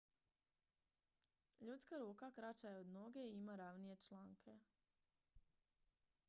ljudska ruka kraća je od noge i ima ravnije članke